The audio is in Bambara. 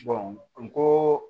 n ko